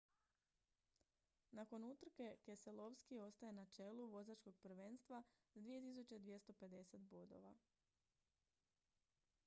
nakon utrke keselowski ostaje na čelu vozačkog prvenstva s 2250 bodova